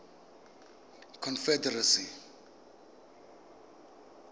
confederacy